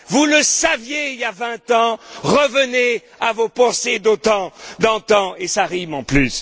Orbán. Vous le saviez il y a vingt ans, revenez à vos pensées d'antan et ça rime en